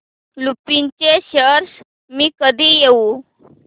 लुपिन चे शेअर्स मी कधी घेऊ